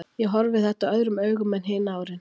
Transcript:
Ég horfi þetta öðrum augum en hin árin.